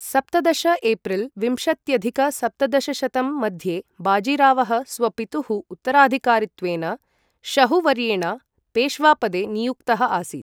सप्तदश एप्रिल् विंशत्यधिक सप्तदशशतं मध्ये बाजीरावः स्वपितुः उत्तराधिकारित्वेन, शहु वर्येण पेश्वा पदे नियुक्तः आसीत्।